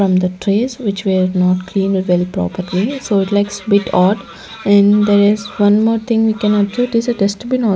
from the trays which were not clean well properly so it likes bit odd and there is one more thing we can observe it is a dustbin --